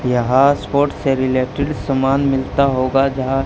यहां स्पोर्ट से रिलेटेड सामान मिलता होगा जहां--